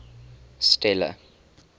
stella